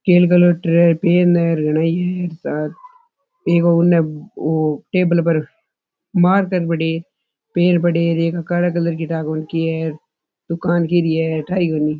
Pen है ग्रेनाइ है सायद एक ने वो टेबल पर मार्कर पड़े है पेन पड़े है एक काला कलर की ठा ही कोनी है दुकान के लिए ठा ही कोनी।